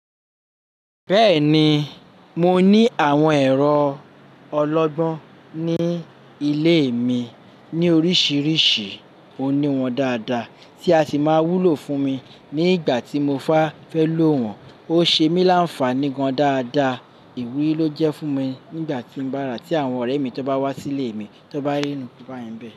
Bẹ́ẹ̀ni, mo ní àwọn ẹ̀rọ ọlọ́gbọ́n ní ilé mi ní oríṣìíríṣìí. Mọ ní wọn dáadáa tí a ṣì máa wúlò fún mi ní ìgbà tí mo bá fẹ́ lò wọ́n. Ó ṣe mí láǹfàní gan dáadáa. Iwúrí ló jẹ́ fún mi nígbà tí mo bá rà tí àwọn ọ̀rẹ́ mi tó bá wá sí ilé mi tó won bá iru nkan bá yen bẹ́.